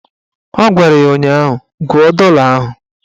Ọ gwara ya ụnyaahụ "Gụọ dọla ahụ"